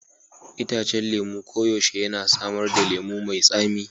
Itacen lemu koyaushe yana samar da lemu mai tsami.